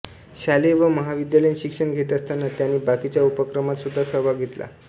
शालेय व महाविद्यालयीन शिक्षण घेत असताना त्यांनी बाकीच्या उपक्रमात सुद्धा सहभाग घेतला